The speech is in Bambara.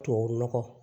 Tubabu nɔgɔ